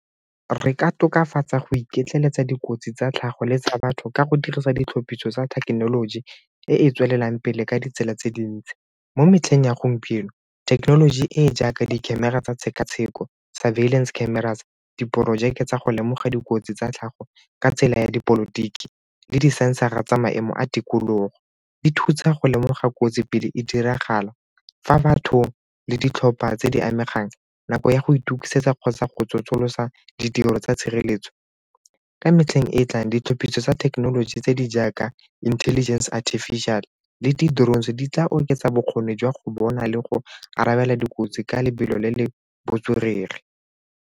Re ka tokafatsa go iketleletsa dikotsi tsa tlhago le tsa batho ka go dirisa ditlhophiso tsa thekenoloji e e tswelelang pele ka ditsela tse dintsi. Mo metlheng ya gompieno, thekenoloji e e jaaka di-camera tsa tshekatsheko, surveillance cameras, diporojeke tsa go lemoga dikotsi tsa tlhago ka tsela ya dipolotiki le disensara tsa maemo a tikologo di thusa go lemoga kotsi pele e diragala. Fa batho le ditlhopha tse di amegang nako ya go itukisetsa kgotsa go tsosolosa ditiro tsa tshireletso. Ka metlheng e e tlang ditlhophiso tsa thekenoloji tse di jaaka intelligence artificial le di-drones di tla oketsa bokgoni jwa go bona le go abela dikotsi ka lebelo le le botswerere.